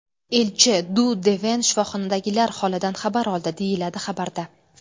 Elchi Du Deven shifoxonadagilar holidan xabar oldi”, deyiladi xabarda.